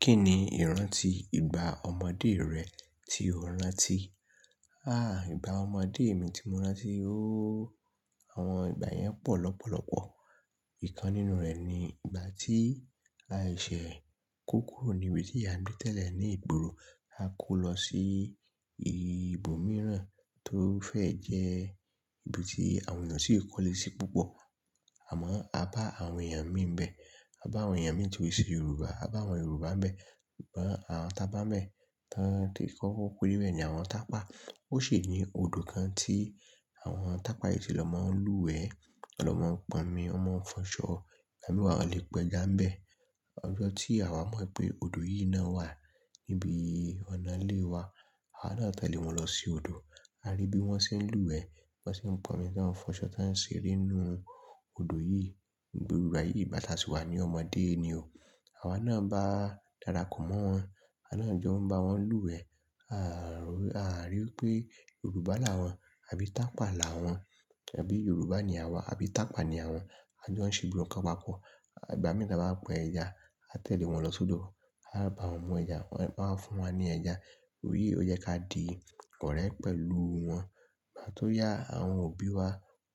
Kí ni ìrántí ìgbà ọmọdé rẹ tí o rántí? Há ìgbà ọmọdé mi tí mo rántí óóó, àwọn ìgbà yẹn pọ̀ lọ́pọ̀lọ́pọ̀. Ìkan nínú rẹ̀ ni ìgbà tí a ṣẹ̀ kokuro níbi tí ìyá gbe te le ní ìgboro. A kó lọ sí ibòmíràn tó fẹ́ jẹ́ ibi tí àwọn èèyàn sì kọ́lé sí púpọ̀. Àmọ́ a bá àwọn èèyàn mì bẹ́ẹ̀. A bá àwọn èèyàn mì tí ó se Yorùbá. A bá àwọn Yorùbá bẹ́ẹ̀. Ọ̀pọ̀ àwọn t' abá' n bẹ́ẹ̀. Tán tí kokó kórí wẹ́ẹ̀ ni àwọn tàpá. Ó ṣi ní odò kan tí àwọn tàpá yìí ti lọ máa ń lúwẹ̀ẹ́, ton lọ máa ń pọnmi, wọn máa ń fọ́n ṣọ. Igba mii wa wọn lẹ pẹ́ já n bẹ́ẹ̀. Ọjọ́ tí àwa mọ̀ wipé odò yìí náà wà níbi ọ̀nà ilé wa. Àwa náà tẹ̀lé wọn lọ sí odò. A rí bí wọ́n ṣé ń lúwẹ̀ẹ́, bọ́n ṣé ń pọnmi, tọ́n fọ́n ṣọ toń ṣẹ́ ere nínú odò yìí. Gbogbo igba yìí ìgbá tà sí wa ní ọmọdé ni o. Àwa náà bá darapọ̀ mọ́ wọn. Awa náà jọ ń bá wọn lúwẹ̀ẹ́. A à rí pé Yorùbá là wọ́n àbí tàpá là wọ́n. Abí Yorùbá ni àwa àbí tàpá ni àwọn. A jọ ń ṣè gbógbo nǹkan papọ̀. Ìgbà mìíràn ton bá pa ẹja, a tẹ̀lé wọn lọ sódò. A bá wọn mú ẹja, wọ́n máa ń fún wa ní ẹja. Eyii ó jẹ ká di ọ̀rẹ́ pẹ̀lú wọn. Igbá tó yá, àwọn òbí wa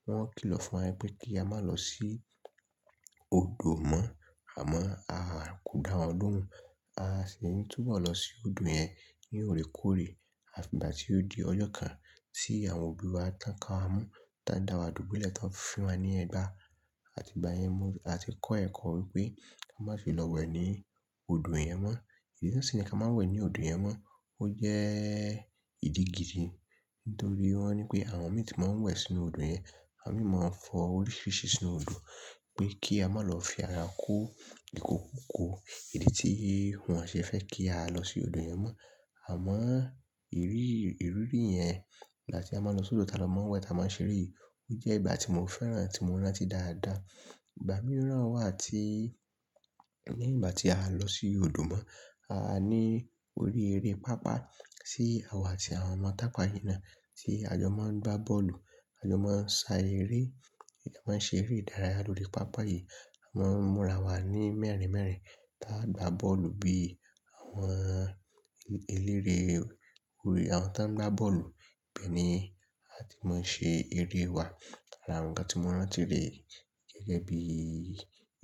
wọ́n kìlọ̀ fún wa pé kí a má lọ sí odò mọ́. Àmọ́ a kò dá wọn lohun. A sì ń túbọ̀ lọ sí odò yẹn ní orekóorè. Àfi ìgbà tí ó di ọjọ́ kan tí àwọn òbí wa tàn ká wa mo, tán dá wa dùbúlẹ̀, táa ń fín wa ní ẹgbà. Àti ìgbà yẹn a ti kọ́ ẹ̀kọ́ wípé ka má fi lọ wẹ̀ ní odò yẹn mọ́. Ìdí tí wón ṣi ní ká má wẹ̀ ní odò yẹn mọ́ ó jẹ́ ìdí gidi. Nítorí wọ́n ní pé àwọn mì tí máa ń wẹ̀ sínú odò yẹn, àwọn mì máa ń fọ oríṣiríṣi sínú odò pé kí a má lọ fi ara kú íkòkuko. Idí tí wọn o ṣé fẹ́ kí a lọ sí odò yẹn mọ́. Àmọ́ ìrírí ìrírí yẹn láti a máa n lọ sódò táa lọ máa ń wẹ̀ táa máa ń ṣeré ó jẹ́ ìgbà tí mo fẹ́ràn tí mo rántí dáadáa. Ìgbà mìíràn wà tí ní ìgbà tí a lọ sí odò mọ́, a ní orí eré pàápàá tí àwa àti àwọn ọmọ tàpá yìí náà. Tí a jọ máa ń gbá bọ́ọ̀lù, a jọ máa ń ṣá eré, a máa ń ṣeré ìdárayá lóri pàpà yìí. Mọ́n múra wa ní mẹ́rin mẹ́rin táa ń gbá bọ́ọ̀lù bí àwọn eléré orí, àwọn táa ń gbá bọ́ọ̀lù bẹ́ẹ̀ ni a ti máa ń ṣe eré wa. Àrà ǹkan tí mo rántí rẹ̀ gẹ́gẹ́ bí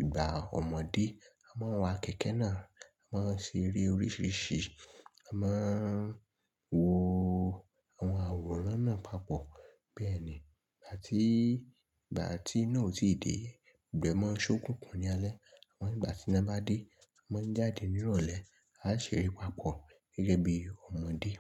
ìgbà ọmọdé. A máa ń wa kẹ̀kẹ́ náà, a máa ń ṣe eré oríṣiríṣi, a máa ń wo àwọn àwòrán náà papọ̀. Bẹ́ẹ̀ ni ìgbà tí ìgbà tí iná ò tíì dé, gbogbo ẹ̀ máa ń ṣókùnkùn ní alẹ́. Àmọ́ ìgbà tí iná bá dé, a máa ń jáde ní ìrọ̀lẹ́, a ṣère papọ̀ gẹ́gẹ́ bí ọmọdé.